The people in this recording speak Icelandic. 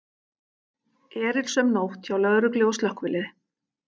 Erilsöm nótt hjá lögreglu og slökkviliði